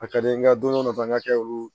A ka di n ye nka don dɔ ta n ka kɛ olu